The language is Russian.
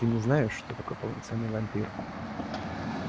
ты не знаешь что такое полноценный вампир